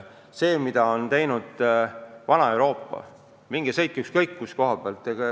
Seda on teinud kogu vana Euroopa, minge sõitke ükskõik kuhu.